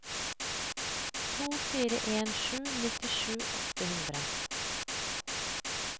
to fire en sju nittisju åtte hundre